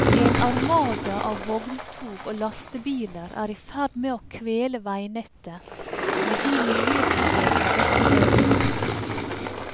En armada av vogntog og lastebiler er i ferd med å kvele veinettet, med de miljøproblemer dette medfører.